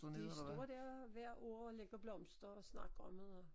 De står der hvert år og lægger blomster og snakker om det og